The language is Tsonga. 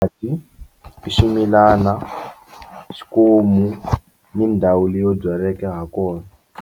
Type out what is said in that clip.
I ximilana xikomu ni ndhawu leyo byaleke ha kona.